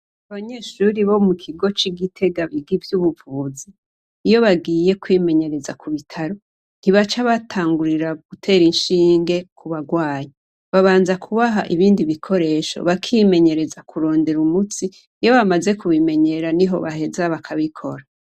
Abanyeshure bo mu kigo c'i Gitega biga ivy'ubuvuzi iyo bagiye kwimenyereza kubitaro, ntibaca batangura gutera inshinge kubagwaye, babanza kubaha ibindi bikoresho bakimenyereza Niko kurondera umutsi. Iyo bamaze kubimenyera niho baheza bakabikora.